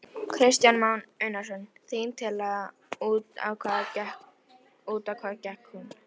Kristján Már Unnarsson: Þín tillaga, út á hvað gekk hún?